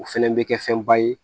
O fɛnɛ bɛ kɛ fɛnba ye